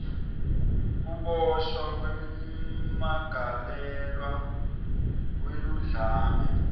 kuboshwa kwemmangalelwa weludlame